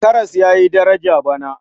Karas ya yi daraja bana.